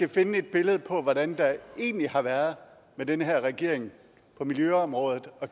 og finde et billede på hvordan det egentlig har været med den her regering på miljøområdet og